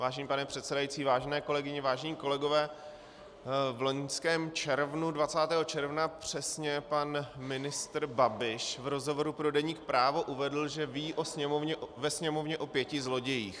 Vážený pane předsedající, vážené kolegyně, vážení kolegové, v loňském červnu, 20. června přesně, pan ministr Babiš v rozhovoru pro deník Právo uvedl, že ví ve Sněmovně o pěti zlodějích.